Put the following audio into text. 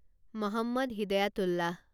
Mohammad Hidayatullah